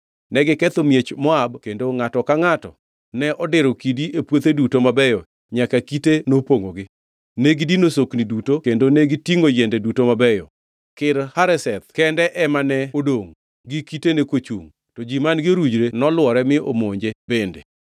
Negiketho miech Moab kendo ngʼato ka ngʼato ne odiro kidi e puothe duto mabeyo nyaka kite nopongʼogi. Negidino sokni duto kendo negitingʼo yiende duto mabeyo. Kir Hareseth kendo ema ne odongʼ gi kitene kochungʼ, to ji man-gi orujre noluore mi omonje bende.